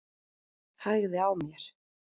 Hægði á mér.